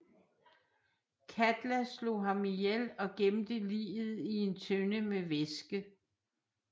Katla slog ham ihjel og gemte liget i en tønde med væske